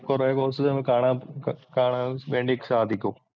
കൊറെ കോഴ്സസ് നമുക്ക് കാണാൻ വേണ്ടി സാധിക്കും.